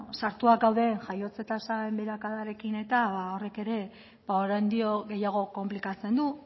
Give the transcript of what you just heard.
sartuta gauden jaiotza tasaren beherakadarekin horrek ere oraindik gehiago konplikatzen du